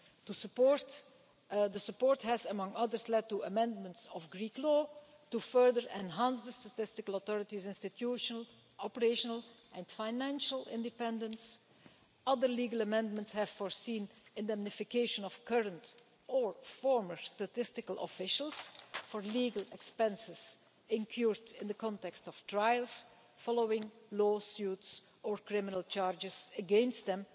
The support has led, inter alia, to amendments of Greek law to further enhance the statistical authority's institutional, operational and financial independence. Other legal amendments have provided for the indemnification of current or former statistics officials for legal expenses incurred in the context of trials following lawsuits or criminal charges against them